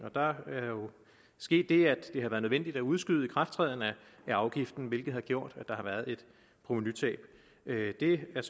og der er jo sket det at det har været nødvendigt at udskyde ikrafttrædelsen af afgiften hvilket har gjort at der har været et provenutab det er